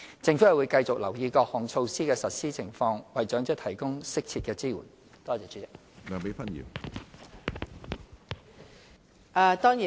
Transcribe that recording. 政府會繼續留意各項措施的實施情況，為長者提供適切的支援。